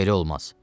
belə olmaz.